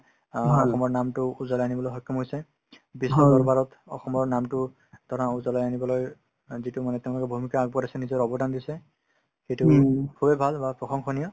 অ অসমৰ নামটো উজলাই আনিবলৈ সক্ষম হৈছে বিশ্বৰদৰবাৰত অসমৰ নামটো ধৰা উজলাই আনিবলৈ অ যিটো মানে তেওঁলোকে ভূমিকা আগবঢ়াইছে নিজৰ অৱদান দিছে সেইটো খুবেই ভাল বা প্ৰশংসনীয়